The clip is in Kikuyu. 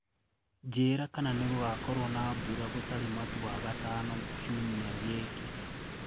njĩĩra kana ningugakorwo na mbũra gutari matu wagatano kĩumĩa giki